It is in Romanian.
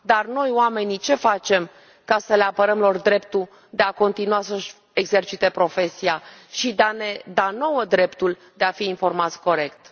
Dar noi, oamenii, ce facem ca să le apărăm lor dreptul de a continua să și exercite profesia și de a ne da nouă dreptul de a fi informați corect?